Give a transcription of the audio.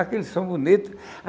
Aquele som bonito.